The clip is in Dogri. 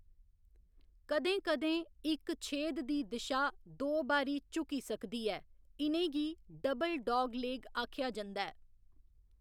कदें कदें, इक छेद दी दिशा दो बारी झुकी सकदी ऐ इ'नें गी 'डबल डागलेग' आखेआ जंदा ऐ।